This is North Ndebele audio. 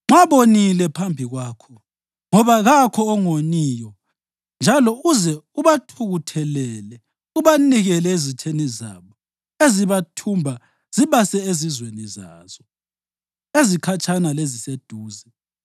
Nxa bonile phambi kwakho, ngoba kakho ongoniyo njalo uze ubathukuthelele ubanikele ezitheni zabo ezibathumba zibase ezizweni zazo, ezikhatshana leziseduze;